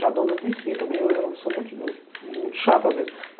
Já dona disse também, eu eu sou muito muito muito chata às vezes.